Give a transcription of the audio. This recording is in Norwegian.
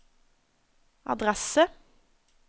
adresse